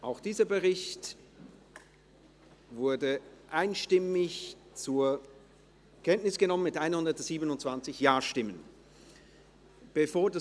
Auch dieser Bericht wurde einstimmig zur Kenntnis genommen, mit 127 Ja- gegen 0 NeinStimmen bei 0 Enthaltungen.